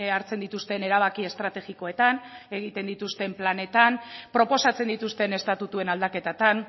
hartzen dituzten erabaki estrategikoetan egiten dituzten planetan proposatzen dituzten estatutuen aldaketatan